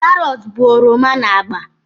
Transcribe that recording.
Karọt bụ oroma na agba